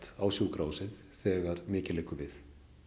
á sjúkrahúsið þegar mikið liggur við